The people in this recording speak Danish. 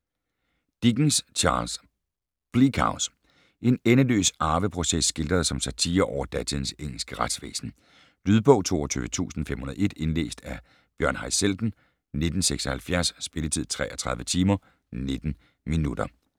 Dickens, Charles: Bleak House En endeløs arveproces skildret som satire over datidens engelske retsvæsen. Lydbog 22501 Indlæst af Bjørn Haizelden, 1976. Spilletid: 33 timer, 19 minutter.